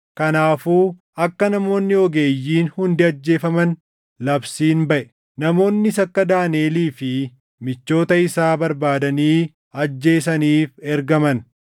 Kanaafuu akka namoonni ogeeyyiin hundi ajjeefaman labsiin baʼe; namoonnis akka Daaniʼelii fi michoota isaa barbaadanii ajjeesaniif ergaman.